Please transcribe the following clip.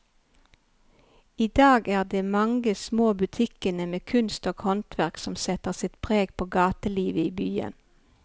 I dag er det de mange små butikkene med kunst og håndverk som setter sitt preg på gatelivet i byen.